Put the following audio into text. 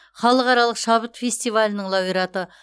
халықаралық шабыт фестивалінің лауреаты